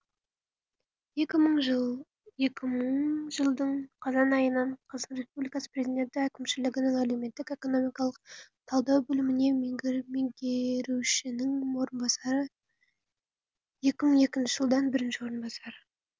екі мыңыншы жылдың қазан айынан қазақстан республикасының президенті әкімшілігінің әлеуметтік экономикалық талдау бөлімінде меңгерушінің орынбасары екі мын екінші жылдан бірінші орынбасары